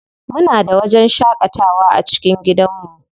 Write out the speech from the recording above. Muna da wajen shaƙatawa a cikin gidanmu.